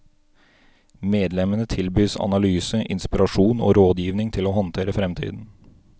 Medlemmene tilbys analyse, inspirasjon og rådgivning til å håndtere fremtiden.